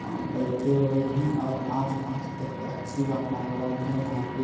बइठे हुये है और आस-पास एक अच्छी वातावरण है जहां की --